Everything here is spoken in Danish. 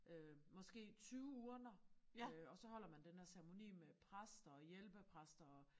Øh måske 20 urner øh og så holder man den her ceremoni med præster og hjælpepræster og